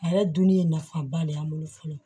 A yɛrɛ dun ye nafaba de y'an bolo fɔlɔ